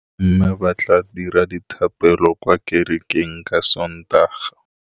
Bommê ba tla dira dithapêlô kwa kerekeng ka Sontaga.